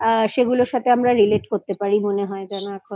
সেগুলোর সাথে relate করতে পারি আমার মনে হয় যেন এখন